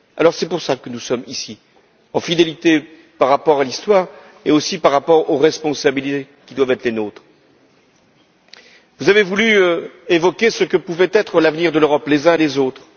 Alors, c'est pour cela que nous sommes ici, en fidélité par rapport à l'histoire et aussi par rapport aux responsabilités qui doivent être les nôtres. Vous avez voulu évoquer ce que pouvait être l'avenir de l'Europe, les uns et les autres.